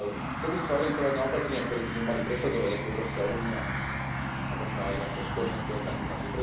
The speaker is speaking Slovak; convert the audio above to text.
Chcel by som sa zamerať na opatrenia, ktoré by sme mali presadzovať ako Európska únia a možno aj ako spoločenské organizácie.